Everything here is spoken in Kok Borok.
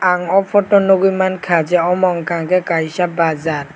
ang aw photo nugui manka je omo unkka ke kaisa bazzar.